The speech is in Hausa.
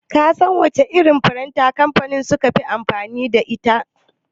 Ka san wace irin firinta kamfanin suke amfani da ita?